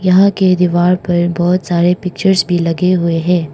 यहां के दीवार पर बहुत सारे पिक्चर्स भी लगे हुए हैं।